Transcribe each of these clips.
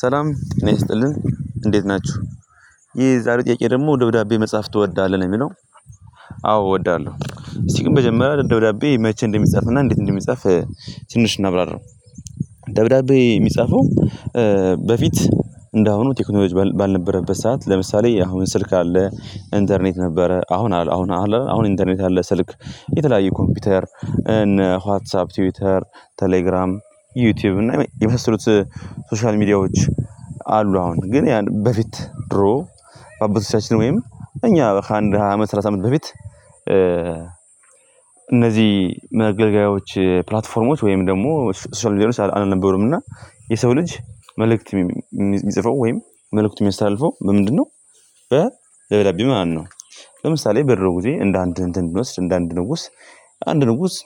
ሰላም ጤና ይስጥልኝ እንዴት ናችሁ። ይሄ የዛሬ ጥያቄ ደግሞ ደብዳቤ መጻፍ ትወዳለህ ነው የሚለው? አዎ እወዳለሁ እስቲ ግን በመጀመረ ደብዳቤ መቼ እንደሚጻፍና እንዴት እንደሚጻፍ ትንሽ እናብራራው። ደብዳቤ የሚጻፈው በፊት እንደአሁኑ ቴክኖሎጂ ባልነበረበት ሰዓት ለምሳሌ አሁን ስልክ አለ ኢንተርኔት ነበረ አሁን አሁን አሁን ኢንተርኔት አለ ስልክ የተለያየ ኮምፒውተር እነ ዋትሳፕ ትዊተር ቴሌግራም ዩቲዩብ እና የመሰሉት ሶሻል ሚዲያዎች። አሉ አሁን ግን ያን በፊት ድሮ በአባቶቻችን በወይም እኛ ከአንድ ሃያ ሰላሳ አመት በፊት እነዚህ መገልገያዎች ፕላትፎርሞች ወይም ደግሞ ሶሻል ሚዲያዎች አልነበሩም እና የሰው ልጅ መልእክት የሚጽፈው ወይም መልእክት የሚያስተላልፈው ምንድነው? በደብዳቤ ማለት ነው። ለምሳሌ በድሮ ጊዜ እንደ አንድ እንትን ብንወስድ እንድንወስድ እንደ አንድ ንጉስ አንድ ንጉስ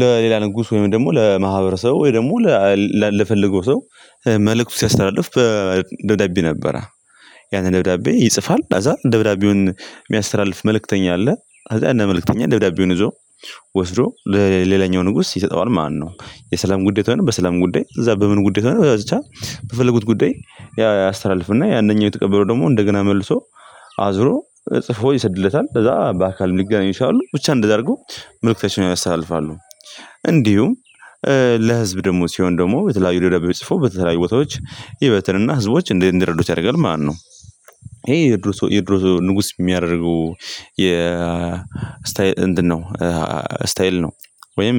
ለሌላ ንጉስ ወይም ደግሞ ለማህበረሰቡ ወይ ደግሞ ለፈለገው ሰው መልእክት ሲያስተላልፍ ደብዳቤ ነበረ። ያን ደብዳቤ ይጽፋል ከዚያ ደብዳቤውን የሚያስተላልፍ መልእክተኛ አለ ከዚያ መልእክተኛ ደብዳቤውን ይዞ ወስዶ ለሌላኛው ንጉስ ይሰጠዋል ማለት ነው። የሰላም ጉዳይ ከሆነ በሰላም ጉዳይ እዚያ በምን ጉዳይ ወይንም ብቻ በፈለጉት ጉዳይ ያ ያስተላልፍና ያናኛው የተቀበለው ደግሞ እንደገና መልሶ አዝሮ ጽፎ ይሰድለታል ከዚያ በአካል ልገናኙ እችላሉ ብቻ እንደዚያ አድርጎ መልእክተኛ ያስተላልፋሉ። እንዲሁም ለሕዝብ ደግሞ ሲሆን ደግሞ በተለያዩ ደብዳቤ ጽፎ በተለያዩ ቦታዎች ይበትንና ህዝቦች እንደ እንደረዱት ያደርጋል ማለት ነው። ይሄ የድሮ ሰው የድሮ ንጉስ የሚያደርገው የ ስታይል እንድን ነው ስታይል ነው ወይም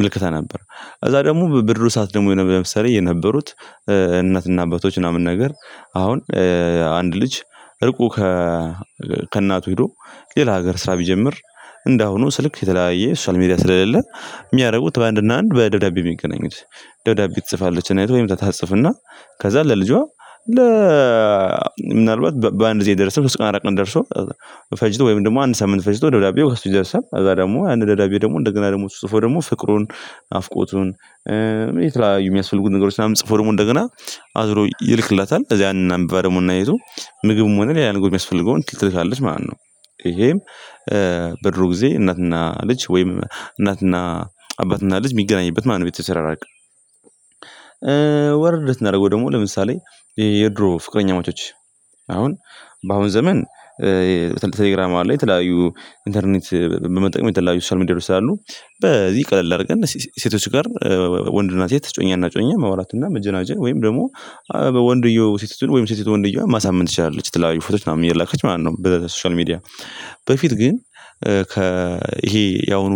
ምልከታ ነበር። ከዚያ ደግሞ በድሮ ሰዓት ደግሞ ለምሳሌ የነበሩት እናትና አባቶች ምናምን ነገር አሁን አንድ ልጅ እርቁ ከእናቱ ሄዶ ሌላ ሀገር ስራ ቢጀምር እንደአሁኑ ስልክ የተለያየ ሶሻል ሚዲያ ስለሌለ የሚያደርጉት አንድ እና አንድ በደብዳቤ ነው የሚገኙት። ደብዳቤ ትጽፋለች እናቱ ወይም ታጽፍና ከዚያ ለልጇ ለ ምናልባት በአንድ ጊዜ አይደርስም በሶስት በአራት ቀን ደርሶ ፈጅቶ ወይም ደግሞ አንድ ሰምን ፈጅቶ ደብዳቤው ከእሱ ደርሰን እዛ ደግሞ አንድ ደዳቤ ደግሞ እንደገና ደግሞ ጽፎ ደግሞ ፍቅሩን ናፍቆቱን የተለያዩ የሚያስፈልጉ ነገሮች ምናምን ጽፎ ደግሞ እንደገና አዝሮ ይልክላታል። እዚህ ያንን አንብባ ደግሞ እናየው ምግብም ሆነ ሌላ ንጉስ የሚያስፈልገውን ትልቅ ትልቅ አለች ማለት ነው። ይሄም በድሮ ጊዜ እናትና ልጅ ወይም እናትና አባትና ልጅ የሚገናኝበት ማለት ነው። ቤት ተሰራራቀ የተሰራራቀ ወርድ እንዳደረገው ደግሞ ለምሳሌ የድሮ ፍቅረኛማቾች አሁን በአሁን ዘመን። በተለይ ተሌግራም ላይ የተለያዩ ኢንተርኔት በመጠቀም የተለያዩ ሶስት ሚዲያ ላይ በዚህ ቀለል አድርገን ሴቶች ጋር ወንድ እና ሴት እጮኛ እና እጮኘ ማውራትና መጀናጀን ወይም ደግሞ ወንድየው ሴቲቱን ወይም ሴቲቱን ወንድየው ማሳመን ትችላለች ትላልቅ ፎቶች ምናምን የላከች ምናምን ነው ብለህ ሶሻል ሚዲያ በፊት ግን ይሄ ያሁኑ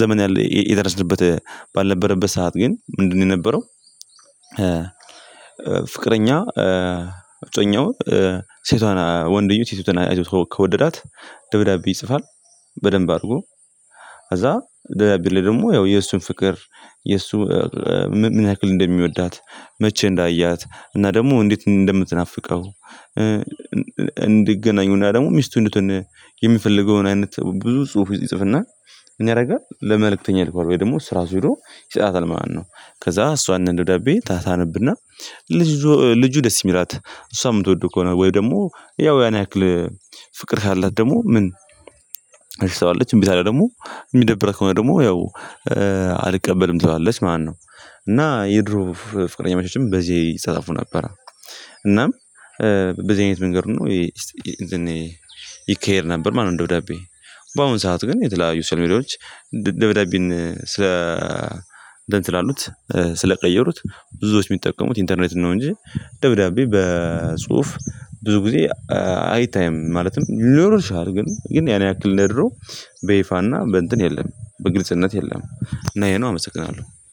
ዘመን ያለ የደረስንበት ባልነበረበት ሰዓት ግን ምንድነው የነበረው? ፍቅረኛ አብዛኛው ሴቷን ወንድዮች የተናየው ከወደዳት ደብዳቤ ይጽፋል። በደንብ አድርጎ አዛ ደብዳቤ ላይ ደግሞ ያው የእሱን ፍቅር የእሱ ወንድ እና ሴት እጮኛ እና እጮኘ መዋላትና መጀናጀ ወይም ደግሞ ወንድየው ሴቲቱን ወይም ሴቲቱን ወንድየው ማሳመን ትችላለች ትላልቅ ፎቶች ምናምን የላከች ምናምን ነው። ብለህ ሶሻል ሚዲያ በፊት ግን ይሄ ያሁኑ ዘመን ያለ የደረስንበት ባልነበረበት ሰዓት ግን ምንድነው የነበረው? ፍቅረኛ አብዛኛው ሴቷን ወንድዮው የተናየው ከወደዳት ደብዳቤ ይጽፋል። በደንብ አድርጎ አዛ ደብዳቤ ላይ ደግሞ ያው የእሱን ፍቅር የእሱ ምን ያክል እንደሚወዳት መቼ እንዳያት እና ደግሞ እንዴት እንደምትናፍቀው እንዲገናኙ ደግሞ ሚስቱን የሚፈልገውን አይነት ብዙ ጽሁፎች ይጽፍና። እኛ ያደርጋል ለመልእክተኛ ልኳር ወይ ደግሞ ስራ ሲሉ ይጻታል ማለት ነው። ከዛ እሷ እንደዳቤ ታታነብና ልጁ ደስ ይምላት እሷ የምትወደው ከሆነ ወይ ደግሞ ያው ያን ያክል ፍቅር ካላት ደግሞ ምን